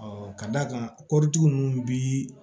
ka d'a kan kɔritigi ninnu bi